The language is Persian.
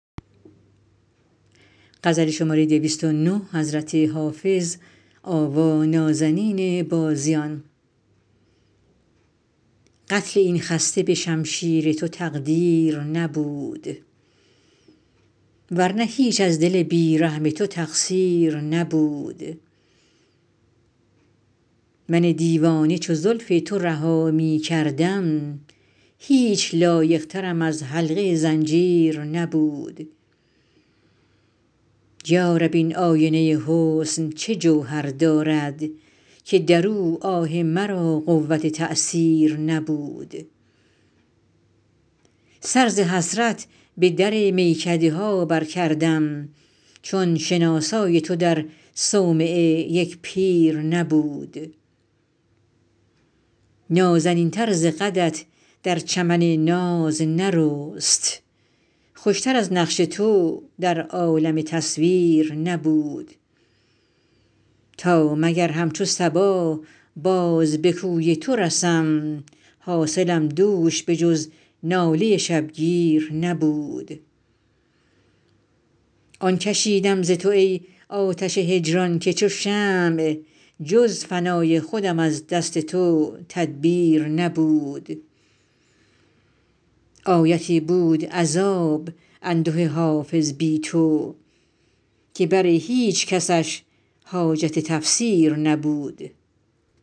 قتل این خسته به شمشیر تو تقدیر نبود ور نه هیچ از دل بی رحم تو تقصیر نبود من دیوانه چو زلف تو رها می کردم هیچ لایق ترم از حلقه زنجیر نبود یا رب این آینه حسن چه جوهر دارد که در او آه مرا قوت تأثیر نبود سر ز حسرت به در میکده ها برکردم چون شناسای تو در صومعه یک پیر نبود نازنین تر ز قدت در چمن ناز نرست خوش تر از نقش تو در عالم تصویر نبود تا مگر همچو صبا باز به کوی تو رسم حاصلم دوش به جز ناله شبگیر نبود آن کشیدم ز تو ای آتش هجران که چو شمع جز فنای خودم از دست تو تدبیر نبود آیتی بود عذاب انده حافظ بی تو که بر هیچ کسش حاجت تفسیر نبود